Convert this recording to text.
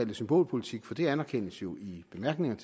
det symbolpolitik for det anerkendes jo i bemærkningerne